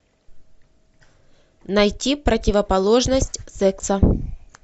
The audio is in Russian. найти противоположность секса